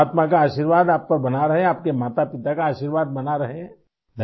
بس ، پرماتما کا آشیرواد آپ پر بنا رہے ، آپ کے والد ، والدہ کا آشیرواد بنا رہے